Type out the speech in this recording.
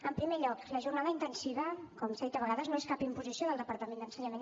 en primer lloc la jornada intensiva com s’ha dit a vegades no és cap imposició del departament d’ensenyament